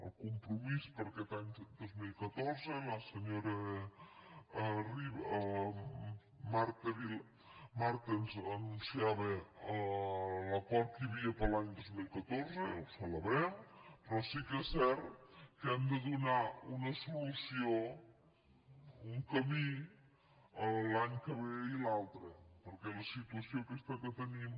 el compromís perquè tanca dos mil catorze i la senyora marta ens anunciava l’acord que hi havia per a l’any dos mil catorze ho celebrem però sí que és cert que hem de donar una solució un camí a l’any que ve i l’altre perquè la situació aquesta que tenim